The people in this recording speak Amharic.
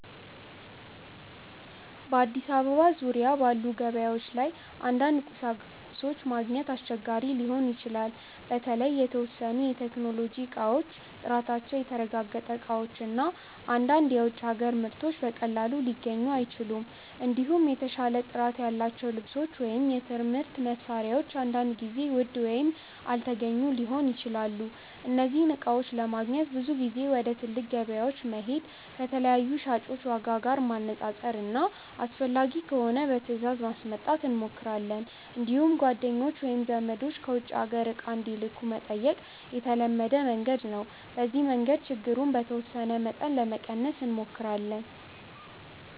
በአዲስ አበባ ዙሪያ ባሉ ገበያዎች ላይ አንዳንድ ቁሳቁሶች ማግኘት አስቸጋሪ ሊሆን ይችላል። በተለይ የተወሰኑ የቴክኖሎጂ እቃዎች፣ ጥራታቸው የተረጋገጠ እቃዎች እና አንዳንድ የውጭ አገር ምርቶች በቀላሉ ሊገኙ አይችሉም። እንዲሁም የተሻለ ጥራት ያላቸው ልብሶች ወይም የትምህርት መሳሪያዎች አንዳንድ ጊዜ ውድ ወይም አልተገኙ ሊሆኑ ይችላሉ። እነዚህን እቃዎች ለማግኘት ብዙ ጊዜ ወደ ትልቅ ገበያዎች መሄድ፣ ከተለያዩ ሻጮች ዋጋ ማነፃፀር እና አስፈላጊ ከሆነ በትእዛዝ ማስመጣት እንሞክራለን። እንዲሁም ጓደኞች ወይም ዘመዶች ከውጭ አገር እቃ እንዲልኩ መጠየቅ የተለመደ መንገድ ነው። በዚህ መንገድ ችግሩን በተወሰነ መጠን ለመቀነስ እንሞክራለን።